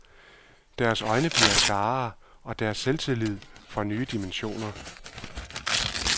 Deres øjne bliver klarere og deres selvtillid får nye dimensioner.